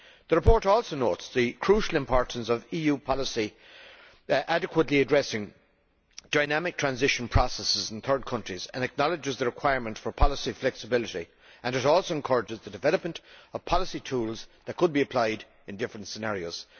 The report also notes the crucial importance of EU policy adequately addressing dynamic transition processes in third countries, and acknowledges the requirement for policy flexibility and it also encourages the development of policy tools which could be applied in different scenarios.